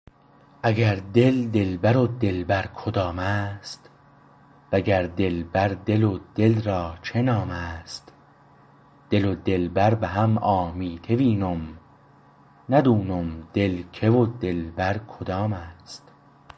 اگر دل دلبر و دلبر کدام است وگر دلبر دل و دل را چه نام است دل و دلبر به هم آمیته وینم ندونم دل که و دلبر کدام است